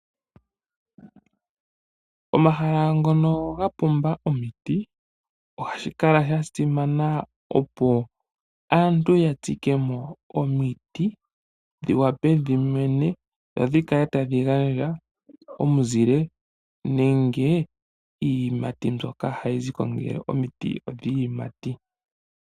Omahala ngono ga pumba omiti ohashi kala sha simana opo aantu ya tsike mo omiti dhi wape dhi mene dho dhi kale tadhi gandja omuzile nenge iiyimati mbyoka hayi ziko ngele omiti odhiiyimati.